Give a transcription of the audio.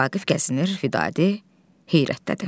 Vaqif gəzinir, Fidadi heyrətdədir.